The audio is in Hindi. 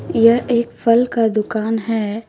यह एक फल का दुकान है।